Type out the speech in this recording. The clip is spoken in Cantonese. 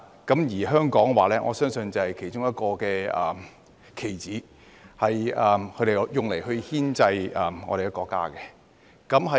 我相信香港就是其中一個棋子，被他們用來牽制我們的國家。